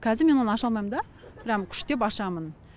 қазір мен оны аша алмаймын да прям күштеп ашамын